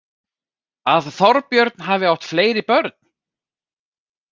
Að Þorbjörn hafi átt fleiri börn?